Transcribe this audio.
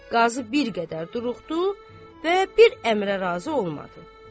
Qazı bir qədər duruxdu və bir əmrə razı olmadı.